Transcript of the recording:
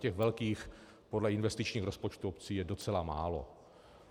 Těch velkých podle investičních rozpočtů obcí je docela málo.